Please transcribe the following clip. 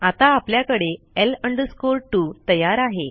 आता आपल्याकडे L 2 तयार आहे